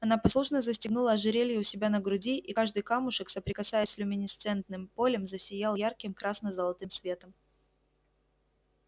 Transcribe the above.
она послушно застегнула ожерелье у себя на груди и каждый камушек соприкасаясь с люминесцентным полем засиял ярким красно-золотым светом